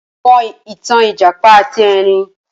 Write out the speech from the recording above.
Ṣé o mọ ìtàn ìjàpá ati Ẹrin?